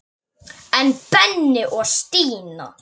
En Benni og Stína?